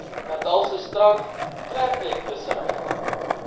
natalse strand treknetvissery